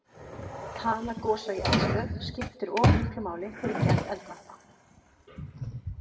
Tala gosa í eldstöð skiptir og miklu máli fyrir gerð eldvarpa.